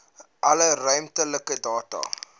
alle ruimtelike data